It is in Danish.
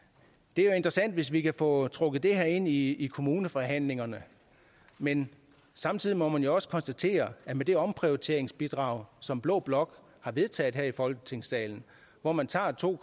det er jo interessant hvis vi kan få trukket det her ind i i kommuneforhandlingerne men samtidig må man jo også konstatere at med det omprioriteringsbidrag som blå blok har vedtaget her i folketingssalen hvor man tager to